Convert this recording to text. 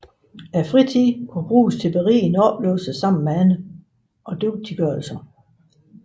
Fritiden kan bruges til berigende oplevelser sammen med andre og dygtiggørelse